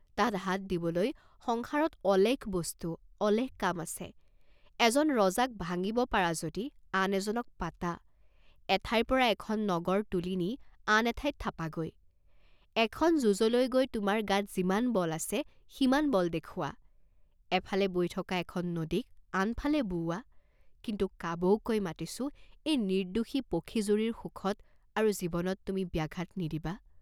তাত হাত দিবলৈ সংসাৰত অলেখ বস্তু, অলেখ কাম আছে, এজন ৰজাক ভাঙ্গিব পাৰা যদি আন এজনক পাঁতা, এঠাইৰ পৰা এখন নগৰ তুলি নি আন এঠাইত থাঁপাগৈ, এখন যুঁজলৈ গৈ তোমাৰ গাত যিমান বল আছে, সিমান বল দেখুঁৱাঁ, এফালে বৈ থকা এখন নদীক আনফালে বোওৱাঁ, কিন্তু কাবৌ কৈ মাতিছোঁ এই নিৰ্দ্দোষী পখী জুৰিৰ সুখত আৰু জীৱনত তুমি ব্যাঘাত নিদিবাঁ।